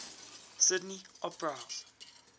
sydney opera house